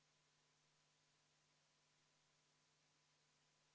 Eelnõu 364 teine lugemine on lõpetatud ja me oleme teise päevakorra menetlemise lõpetanud.